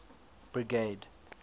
brigade